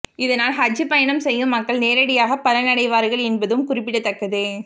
இதனால் ஹஜ் பயணம் செய்யும் மக்கள் நேரடியாக பலன் அடைவார்கள் என்பதும் குறிப்பிடத்தக்கது